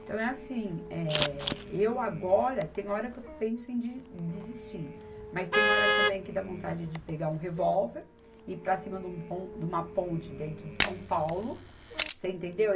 Então é assim, eh, eu agora, tem hora que eu penso em de, desistir, mas tem hora também que dá vontade de pegar um revólver e ir para cima de um pon, de uma ponte dentro de São Paulo, você entendeu?